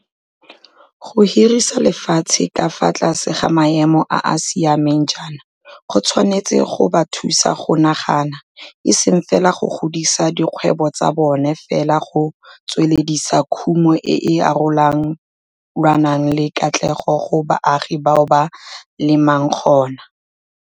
Go hirisa lefatshe ka fa tlase ga maemo a a siameng jaana go tshwanetse go ba thusa go nagana, eseng fela go godisa dikgwebo tsa bona fela go tsweledisa khumo e e arole lwanang le katlego go baagi bao ba lemang gona.